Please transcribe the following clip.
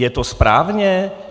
Je to správně?